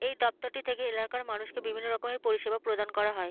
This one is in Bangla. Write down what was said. এ দপ্তরটি থেকে এলাকার মানুষকে বিভিন্ন রকমের পরিষেবা প্রদান করা হয়।